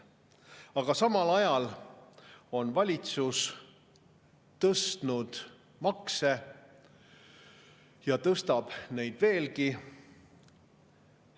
Aga samal ajal on valitsus tõstnud makse ja tõstab neid veelgi.